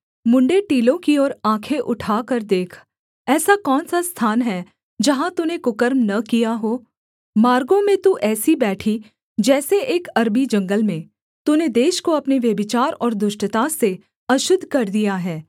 मुँण्ड़े टीलों की ओर आँखें उठाकर देख ऐसा कौन सा स्थान है जहाँ तूने कुकर्म न किया हो मार्गों में तू ऐसी बैठी जैसे एक अरबी जंगल में तूने देश को अपने व्यभिचार और दुष्टता से अशुद्ध कर दिया है